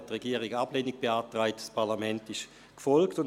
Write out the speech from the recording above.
Die Regierung beantragte damals Ablehnung, das Parlament folgte ihr.